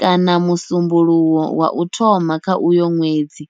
kana musumbulowo wa u thoma kha uyo nwedzi.